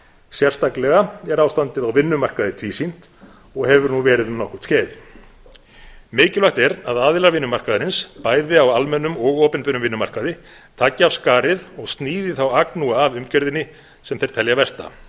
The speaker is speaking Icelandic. sérstaklega er ástandið á vinnumarkaði tvísýnt og hefur nú verið um nokkurt skeið mikilvægt er að aðilar vinnumarkaðarins bæði á almennum og opinberum vinnumarkaði taki af skarið og sníði þá agnúa af umgjörðinni sem þeir telja versta